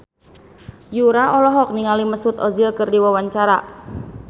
Yura olohok ningali Mesut Ozil keur diwawancara